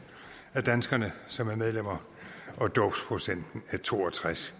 af danskerne som er medlem og dåbsprocenten er to og tres